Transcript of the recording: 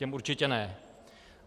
Těm určitě ne.